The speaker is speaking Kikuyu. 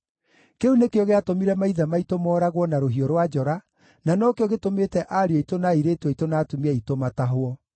Kĩu nĩkĩo gĩatũmire maithe maitũ mooragwo na rũhiũ rwa njora, na nokĩo gĩtũmĩte ariũ aitũ, na airĩtu aitũ, na atumia aitũ matahwo.